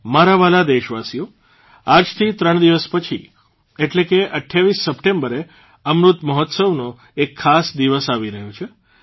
મારા વ્હાલા દેશવાસીઓ આજથી ત્રણ દિવસ પછી એટલે કે ૨૮ સપ્ટેમ્બરે અમૃત મહોત્સવનો એક ખાસ દિવસ આવી રહ્યો છે